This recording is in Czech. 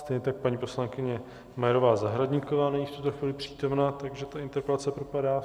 Stejně tak paní poslankyně Majerová Zahradníková není v tuto chvíli přítomna, takže ta interpelace propadá.